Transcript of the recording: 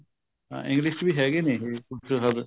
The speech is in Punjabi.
ਹਾਂ English ਵਿੱਚ ਹੈਗੇ ਨੇ ਕੁੱਝ ਹੱਦ